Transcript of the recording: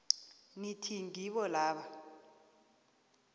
nithi ngibo laba